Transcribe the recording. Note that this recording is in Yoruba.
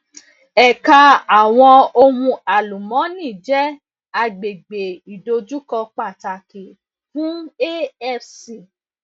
ẹka awọn ohun alumọni jẹ agbegbe idojukọ pataki fun afc